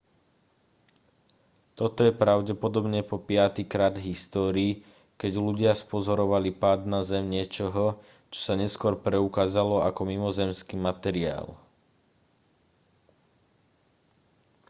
toto je pravdepodobne po piatykrát v histórii keď ľudia spozorovali pád na zem niečoho čo sa neskôr preukázalo ako mimozemský materiál